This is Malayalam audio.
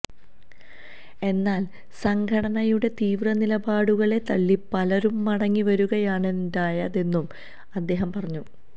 എന്നാല് സംഘടനയുടെ തീവ്ര നിലപാടുകളെ തള്ളി പലരും മടങ്ങി വരുകയാണുണ്ടായതെന്നും അദ്ദേഹം പറഞ്ഞു